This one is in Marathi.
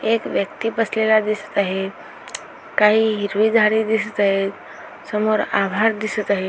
एक व्यक्ती बसलेला दिसत आहे काही हिरवी झाडे दिसत आहेत समोर आभाळ दिसत आहे.